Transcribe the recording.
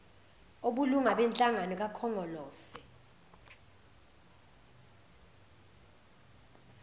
obulunga benhlangano kakhongolose